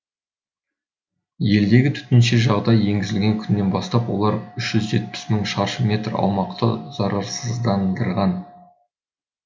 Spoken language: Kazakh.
елдегі төтенше жағдай енгізілген күннен бастап олар үш жүз жетпіс мың шаршы метр аумақты зарарсыздандырған